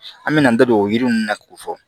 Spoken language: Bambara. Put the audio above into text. An me na an da don o yiri ninnu na k'o fɔ